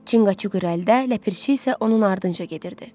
Çinqaçuk qabaq-qabaq, Ləpirçi isə onun ardınca gedirdi.